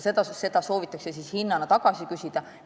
Seda soovitakse siis hinnana tagasi küsida.